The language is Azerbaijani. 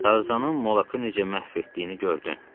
Tarzanın Molakı necə məhv etdiyini gördün?